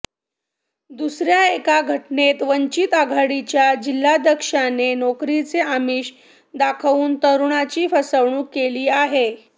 दुसऱ्या एका घटनेत वंचित आघाडीच्या जिल्हाध्यक्षाने नोकरीचे आमिष दाखवून तरुणाची फसवणूक केली आहे